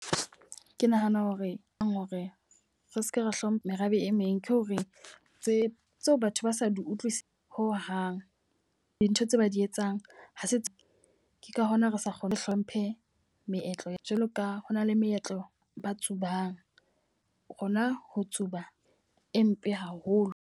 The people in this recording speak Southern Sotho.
Ke nahana hore ang hore re seke ra hlompha merabe e meng. Ke hore tse tseo batho ba sa di utlwisise ho hang dintho tse ba di etsang ho setso ke ka hona re sa kgone hlomphe meetlo. Jwalo ka ho na le meetlo na tsubang, rona ho tsuba e mpe haholo.